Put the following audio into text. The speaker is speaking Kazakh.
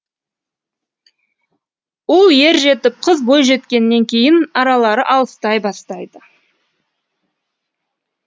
ұл ер жетіп қыз бой жеткеннен кейін аралары алыстай бастайды